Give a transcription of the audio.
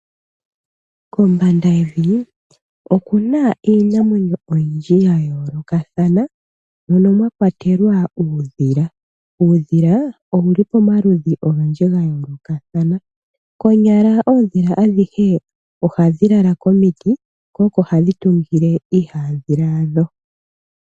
Kombanda yevi okuna iinamwenyo oyindji ya yoolokathana mono mwa kwatelwa uudhila. Uudhila owuli pomaludhi ogendji ga yoolokathana, konyala oondhila adhihe ohadhi lala komiti ko oko hadhi tungile iihandhila yadho.